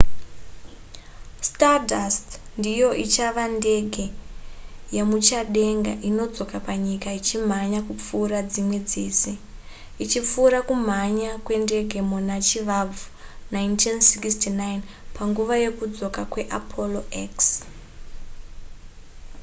stardust ndiyo ichava ndege yemuchadenga inodzoka panyika ichimhanya kupfuura dzimwe dzese ichipfuura kumhanya kwendege yemuna chivabvu 1969 panguva yekudzoka kweapollo x